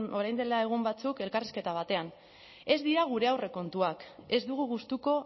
orain dela egun batzuk elkarrizketa batean ez dira gure aurrekontuak ez dugu gustuko